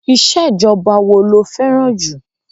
Ìṣèjọba wo lo fẹ́ràn jù?